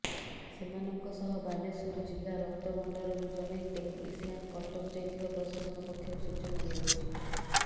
ସେମାନଙ୍କ ସହ ବାଲେଶ୍ୱର ଜିଲ୍ଲା ରକ୍ତଭଣ୍ଡାରରୁ ଜଣେ ଟେକ୍ନିସିଆନ କଟକ ଯାଇଥିବା ପ୍ରଶାସନ ପକ୍ଷରୁ ସୂଚନା ଦିଆଯାଇଛି